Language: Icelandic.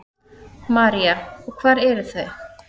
María: Og hver eru þau?